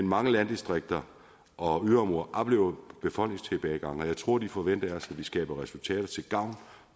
mange landdistrikter og yderområder oplever befolkningstilbagegang og jeg tror de forventer af os at vi skaber resultater til gavn